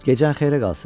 Gecən xeyrə qalsın.